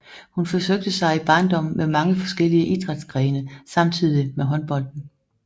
Hun forsøgte sig i barndommen med mange forskellige idrætsgrene samtidig med håndbolden